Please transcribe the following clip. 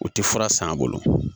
U ti fura san a bolo